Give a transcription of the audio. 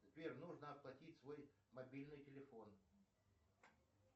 сбер нужно оплатить свой мобильный телефон